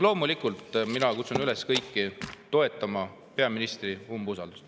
Loomulikult ma kutsun kõiki üles toetama peaministri umbusaldamist.